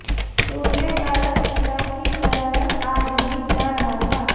सूर्य का रथ सदा की तरह आज भी जा रहा था